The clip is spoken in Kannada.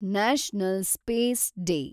national space day